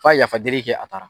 Ka ye yafa dɛli kɛ a taara.